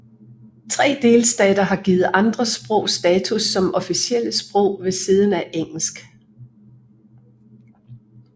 Tre delstater har givet andre sprog status som officielle sprog ved siden af engelsk